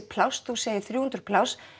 pláss þú segir þrjú hundruð pláss